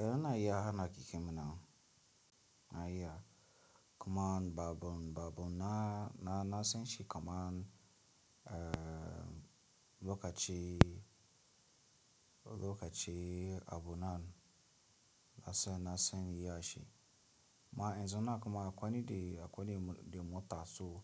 Eh na iya hana ki kimina, na iya. Kuma babu, babu na, na, na san shi kamar eh lokaci, lokacin abunan na san, na san iya shi. Ma in zana kuma akwai ni de, akwai nide muta so